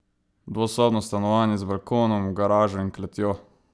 Dvosobno stanovanje z balkonom, garažo in kletjo?